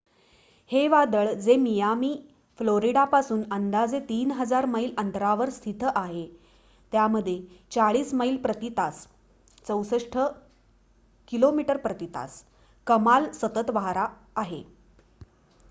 हे वादळ जे मियामी फ्लोरिडापासून अंदाजे 3,000 मैल अंतरावर स्थित आहे त्यामध्ये 40 मैल प्रती तास 64 किमी प्रती तास कमाल सतत वारा आहे